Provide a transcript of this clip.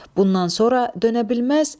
Bundan sonra dönə bilməz.